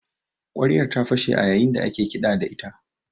Ƙwaryar ta fashe a yayin da ake kiɗa da ita